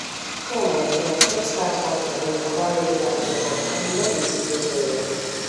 me and my friends just start one challenge about regular checkup and e don dey sweet us well well